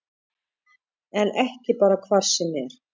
En ekki bara hvar sem er